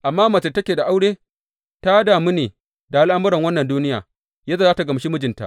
Amma mace da take da aure ta damu ne da al’amuran wannan duniya, yadda za tă gamshi mijinta.